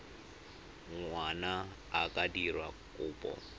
ngwana a ka dira kopo